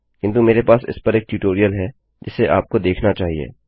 किन्तु मेरे पास इस पर एक ट्यूटोरियल है जिसे आपको देखना चाहिए